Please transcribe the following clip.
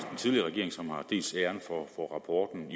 den tidligere regering som dels har æren for rapporten